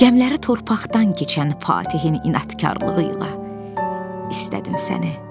Gəmiləri torpaqdan keçən Fatihin inadkarlığı ilə istədim səni.